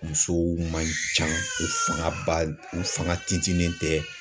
Musow man can , u fanga ba u fanga tinfinlen tɛ.